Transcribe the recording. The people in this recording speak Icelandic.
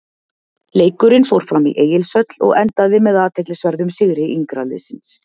Leikurinn fór fram í Egilshöll og endaði með athyglisverðum sigri yngra liðsins.